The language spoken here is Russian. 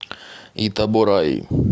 итабораи